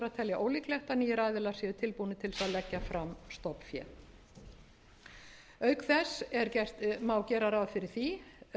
telja ólíklegt að nýir aðilar séu tilbúnir til þess að leggja fram stofnfé auk þess má gera ráð fyrir því